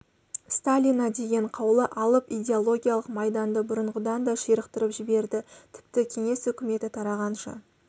сталина деген қаулы алып идеологиялық майданды бұрынғыдан да ширықтырып жіберді тіпті кеңес өкіметі тарағанша